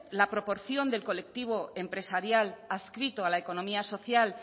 la proporción del colectivo empresarial adscrito a la economía social